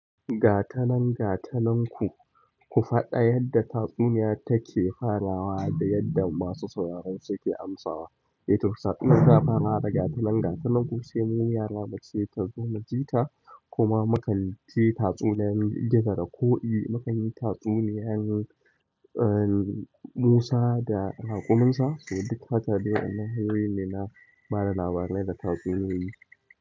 Gatanan gatanan ku, ku faɗa yadda tatsuniya take farawa da yadda masu sauraron suke amsawa. Eh to, tatsuniya ta fara da gatanan gatanan ku, sai mu yara muce ta zo mu jita kuma mukan ji tatsuniyan gizo da koki, mukan jin tatsuniyar ehn, musa da raƙumin sa. So du haka dai, hanyoyi ne na ba da labarai da tatsuniyoyi.